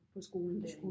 På skolen der